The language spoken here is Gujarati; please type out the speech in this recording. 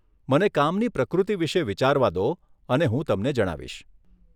મને કામની પ્રકૃતિ વિશે વિચારવા દો અને હું તમને જણાવીશ.